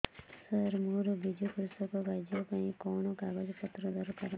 ସାର ମୋର ବିଜୁ କୃଷକ କାର୍ଡ ପାଇଁ କଣ କାଗଜ ପତ୍ର ଦରକାର